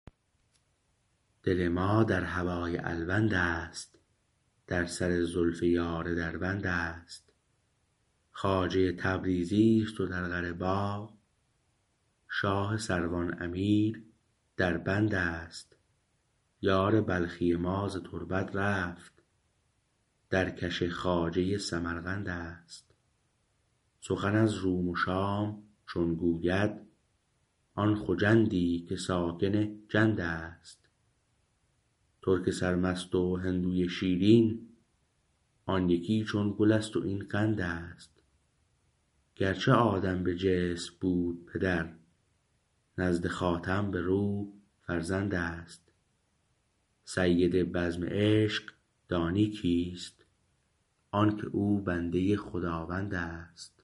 دل ما در هوای الوند است در سر زلف یار دربند است خواجه تبریزی است و در قره باع شاه سروان امیر در بند است یار بلخی ما ز تربت رفت در کش خواجه سمرقند است سخن از روم و شام چون گوید آن خجندی که ساکن جند است ترک سرمست و هندوی شیرین آن یکی چون گل است و این قند است گرچه آدم به جسم بود پدر نزد خاتم به روح فرزند است سید بزم عشق دانی کیست آنکه او بنده خداوند است